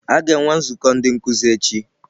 A ga-enwe nzukọ ndị nkuzi echi?